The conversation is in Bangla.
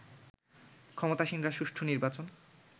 ক্ষমতাসীনরা সুষ্ঠু নির্বাচন